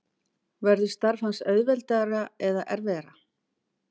Verður starf hans auðveldara eða erfiðara?